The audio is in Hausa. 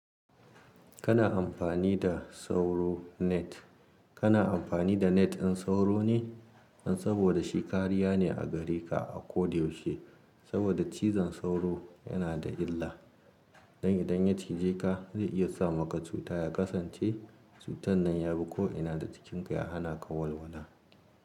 Kana amfani da sauro net. Kana amfani da net in sauro ne, in saboda shi kariya ne a gareka akodayaushe. Saboda cizon sauro yana da illa, dan idan ya cije ka zai iya sa maka cuta ya kasance cutan nan ya bi ko ina da cikin ka ya hana ka walwala.